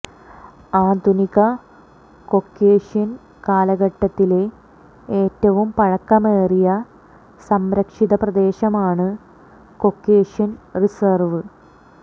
ആധുനിക കോക്കേഷ്യൻ കാലഘട്ടത്തിലെ ഏറ്റവും പഴക്കമേറിയ സംരക്ഷിത പ്രദേശമാണ് കൊക്കേഷ്യൻ റിസർവ്